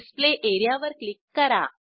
display एरियावर click करा